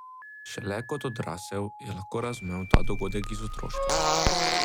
Šele kot odrasel je lahko razumel ta dogodek iz otroštva.